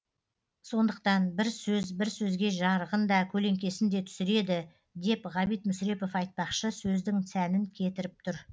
сондықтан бір сөз бір сөзге жарығын да көлеңкесін де түсіреді деп ғабит мүсірепов айтпақшы сөздің сәнін кетіріп тұр